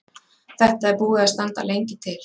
Þetta er búið að standa lengi til.